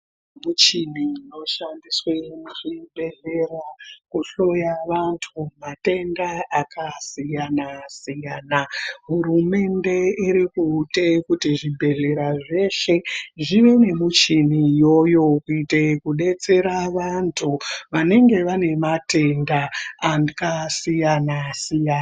Michini inoshandiswe muzvibhedhlera kuhloya vanthu matenda akasiyana siyana hurumende irikutenga kuitire zvibhedhlera zveshe zvive nemichini iyoyo kuitire vanthu vanonge vane matenda akasiyana siyana.